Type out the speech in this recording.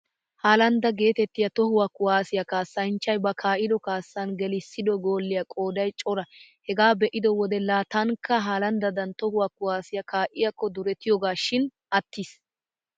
Halanda geetettiyaa tohuwaa kuwaasiyaa kaassanchchay ba kaa'ido kaassan gelissido gooliyaa qooday cora. Hegaa be'iyo wodee, laa taanikka halandadan tohuwaa kuwaasiyaa kaa'iyaakkoduretiyoogaashing attiis.